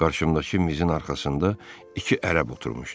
Qarşımdakı mizin arxasında iki ərəb oturmuşdu.